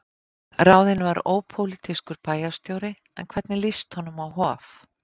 Ráðinn var ópólitískur bæjarstjóri, en hvernig líst honum á Hof?